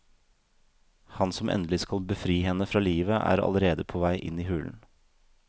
Han som endelig skal befri henne fra livet er allerede på vei inn i hulen.